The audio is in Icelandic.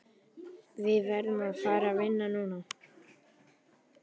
Við verðum að fara vinna núna.